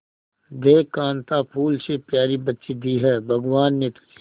देख कांता फूल से प्यारी बच्ची दी है भगवान ने तुझे